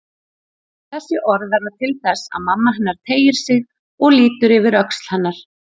Þessi orð verða til þess að mamma hennar teygir sig og lítur yfir öxl hennar.